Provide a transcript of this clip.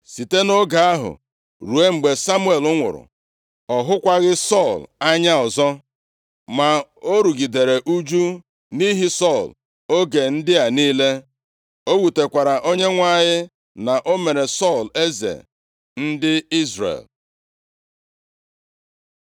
Site nʼoge ahụ ruo mgbe Samuel nwụrụ, ọ hụkwaghị Sọl anya ọzọ. Ma o rugidere ụjụ nʼihi Sọl oge ndị a niile. O wutekwara Onyenwe anyị na o mere Sọl eze ndị Izrel.